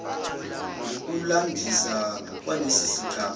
ngokulandisa kwalesi sigaba